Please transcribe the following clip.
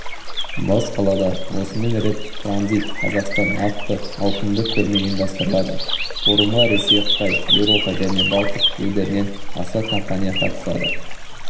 бас қалада осымен рет транзит қазақстан атты ауқымды көрме ұйымдастырылады форумға ресей қытай еуропа және балтық елдерінен аса компания қатысады